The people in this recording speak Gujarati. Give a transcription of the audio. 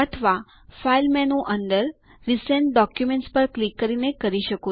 અથવા ફાઇલ મેનુ અંદર રિસેન્ટ ડોક્યુમેન્ટ્સ પર ક્લિક કરીને કરી શકો